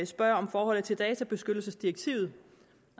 spørger om forholdet til databeskyttelsesdirektivet